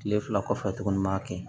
Tile fila kɔfɛ tuguni n b'a kɛ